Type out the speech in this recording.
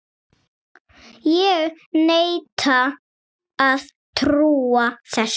Ég neita að trúa þessu.